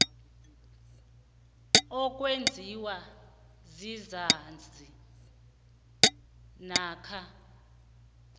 okwenziwa sisazi namkha